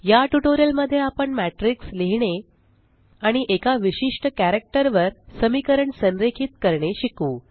या ट्यूटोरियल मध्ये आपण मॅट्रिक्स लिहीणे आणि एका विशिष्ट कॅरक्टर वर समीकरण संरेखित करणे शिकू